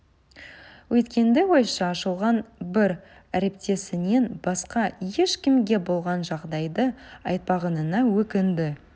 өткенді ойша шолған бір әріптесінен басқа ешкімге болған жағдайды айтпағанына өкінді